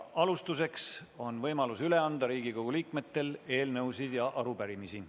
Alustuseks on Riigikogu liikmetel võimalus üle anda eelnõusid ja arupärimisi.